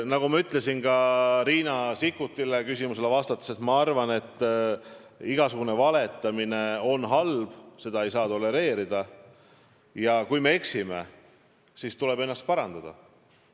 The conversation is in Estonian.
Nagu ma ütlesin Riina Sikkuti küsimusele vastates: ma arvan, et igasugune valetamine on halb, seda ei saa tolereerida, ja kui me eksime, siis tuleb ennast parandada.